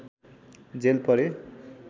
jail परे